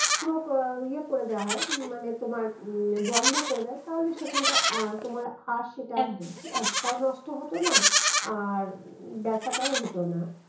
পুরো এর ইয়ে করে দেওয়া হয় মানে তোমার উম বন্ধ করে দেয় তাহলে সেখানটায় আহ তোমার আর সেটা তাও নষ্ট হতোনা আর ব্যথাটাও হতোনা